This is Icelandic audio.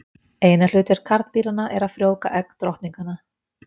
Eina hlutverk karldýranna er að frjóvga egg drottninganna.